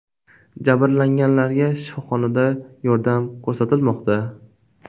Jabrlanganlarga shifoxonada yordam ko‘rsatilmoqda.